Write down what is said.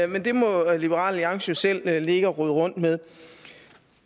men det må liberal alliance jo selv ligge og rode rundt med